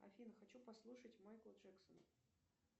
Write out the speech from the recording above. афина хочу послушать майкла джексона